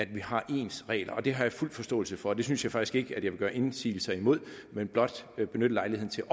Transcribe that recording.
vi har ens regler det har jeg fuld forståelse for det synes jeg faktisk ikke at jeg vil gøre indsigelser imod men blot benytte lejligheden til